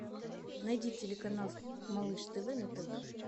найди телеканал малыш тв на тв